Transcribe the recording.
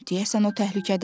Deyəsən o təhlükədədir.